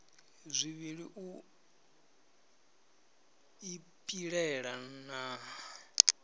zwivhili u i pilela na